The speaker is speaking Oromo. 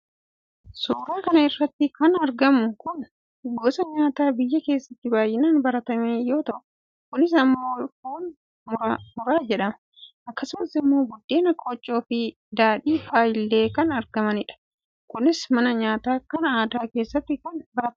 suuraa kana irratti kan argamu kun gosa nyaataa biyya keessatti baay'inaan baratame yoo ta'u kunis immoo foon muraajedhama. akkasumas immoo buddeena, qooccoofi daadhii fa'a illee kan argamanidha. kunis mana nyaataa kan aadaa keessatti kan baratamedha.